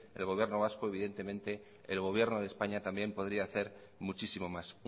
el gobierno vasco evidentemente el gobierno de españa también podría hacer muchísimo más